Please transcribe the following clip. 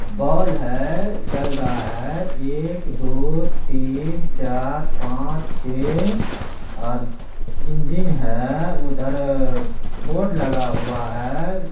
बाल है जल रहा है एक दो तीन चार पांच छः और इंजन है उधर बोर्ड लगा हुआ है।